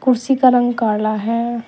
कुर्सी का रंग काला है।